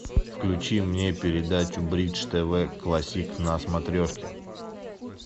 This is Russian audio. включи мне передачу бридж тв классик на смотрешке